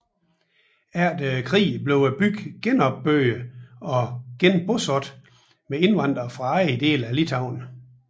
Efter krigen blev byen genopbygget og genbosat med indvandrere fra andre dele af Litauen